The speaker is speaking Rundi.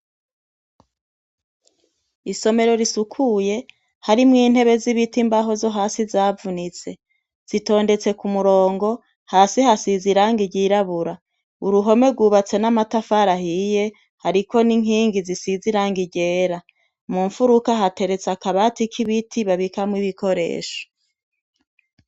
Isomero risukuye, harimwo intebe z'ibiti imbaho zo hasi zavunitse. Zitondetse k'umurongo, hasi hasize irangi ryirabura. Uruhome rwubatse n'amatafari ahiye, hariko n'inkingi zisize irangi ryera. Mumfuruka hateretse akabati k'ibiti babikamwo ibikoresho.